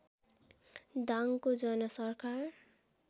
दाङको जनसरकार